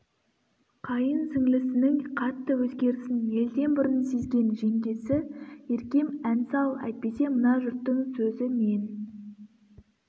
қайын сіңлісінің қатты өзгерісін елден бұрын сезген жеңгесі еркем ән сал әйтпесе мына жұрттың сөзі мен